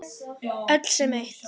Öll sem eitt.